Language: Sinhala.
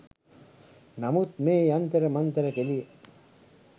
නමුත් මේ යන්තර මන්තර කෙලිය